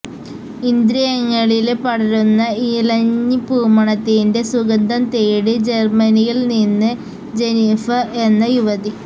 ഇന്ദ്രിയങ്ങളില് പടരുന്ന ഇലഞ്ഞിപ്പൂമണത്തിന്റെ സുഗന്ധം തേടി ജർമനിയിൽ നിന്ന് ജെന്നിഫര് എന്ന യുവതി